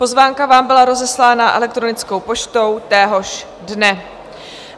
Pozvánka vám byla rozeslána elektronickou poštou téhož dne.